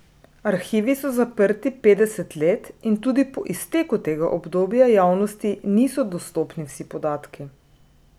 Arhivi so zaprti petdeset let in tudi po izteku tega obdobja javnosti niso dostopni vsi podatki.